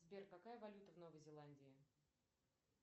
сбер какая валюта в новой зеландии